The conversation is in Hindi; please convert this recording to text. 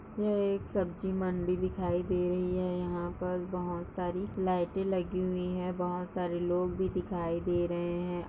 यह एक सब्जी मंडी दिखाई दे रही है यहाँ पे बहुत सारी लाइटे लगी हुई है बहुत सारे लोग भी दिखाई दे रहे हैं।